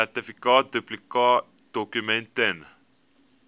sertifikaat duplikaatdokument ten